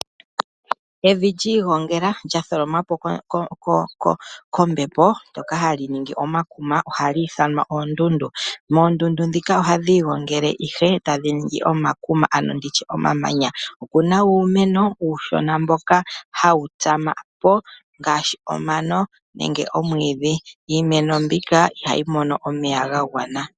Evi lyi igongela lya tholomwapo kombepo ndoka hali ningi omakuma ohali ithanwa oondundu. Oondundu ndhika ohadhi igongele ihe tadhi ningi omakuma ano nditye omamanya. Okuna uumeno uushona mbyoka hayi tsamako ngaashi omano nenge omwiidhi. Iimeno mbika ihayi mono omeya gagwana.